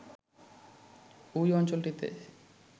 ঐ অঞ্চলটিতে